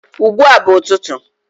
ugbua bu ututu